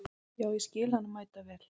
Já, ég skil hana mæta vel.